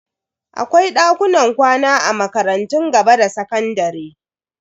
Akwai dakunan kwana a makarantun gaba da sakandare.